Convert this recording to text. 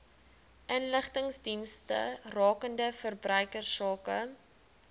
inligtingsdienste rakende verbruikersake